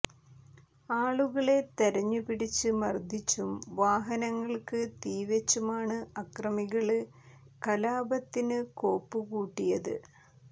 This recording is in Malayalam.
ആളുകളെ തെരഞ്ഞു പിടിച്ച് മര്ദ്ദിച്ചും വാഹനങ്ങള്ക്ക് തീവെച്ചുമാണ് അക്രമികള് കലാപത്തിന് കോപ്പു കൂട്ടിയത്